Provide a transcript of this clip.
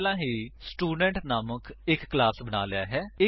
ਮੈਂ ਪਹਿਲਾਂ ਹੀ ਸਟੂਡੇਂਟ ਨਾਮਕ ਇੱਕ ਕਲਾਸ ਬਣਾ ਲਿਆ ਹੈ